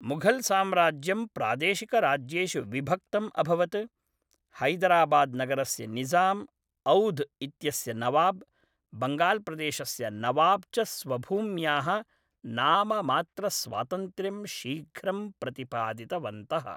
मुघल्साम्राज्यं प्रादेशिकराज्येषु विभक्तम् अभवत्, हैदराबाद्नगरस्य निज़ाम्, औध् इत्यस्य नवाब्, बङ्गाल्प्रदेशस्य नवाब् च स्वभूम्याः नाममात्रस्वातन्त्र्यं शीघ्रं प्रतिपादितवन्तः।